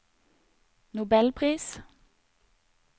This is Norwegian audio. nobelpris